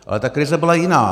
Ale ta krize byla jiná.